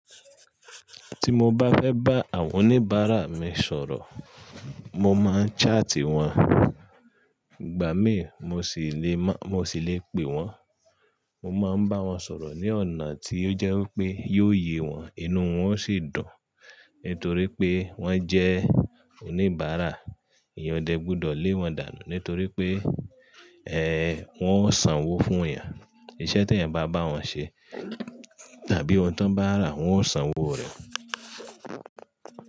Tí mo bá fẹ́ bá àwọn oníbàárà mi sọ̀rọ̀, mo máa ń ṣáati wọ́n. Ìgbà mí, mo sì lè má-- mo sì lè pè wọ́n. Mo máa ń bá wọn sọ̀rọ̀ ní ọ̀nà tí ó jẹ́ pé yóò yé wọn, inú wọn ó sì dùn. Nítorí pé wọ́n jẹ́ oníbàárà, èèyàn ò dẹ́ gbọdọ̀ lé wọn dànù nítorí pé, ẹ́ẹ́, wọ́n ó sanwó fún èèyàn. Iṣẹ́ tí ẹ̀yàn bá bá wọn ṣe tàbí ohun t'wọ́n bá rà, wọ́n ó sanwó rẹ̀.